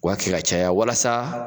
U kɛ k'a caya walasa.